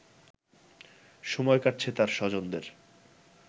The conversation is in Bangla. সময় কাটছে তার স্বজনদের